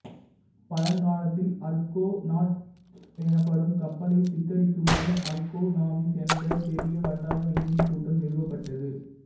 பழங் காலத்தில் Argonauts எனப்படும் கப்பலைச் சித்தரிக்குமாறு அர்கோ நாவிஸ் என்ற பெரிய வட்டார விண்மீன் கூட்டம் நிறுவப்பட்டது